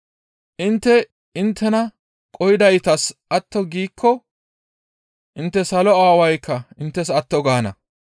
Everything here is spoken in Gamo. «Intte inttena qohidaytas atto giikko intte salo Aawaykka inttes atto gaana.